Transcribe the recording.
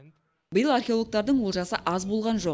биыл археологтардың олжасы аз болған жоқ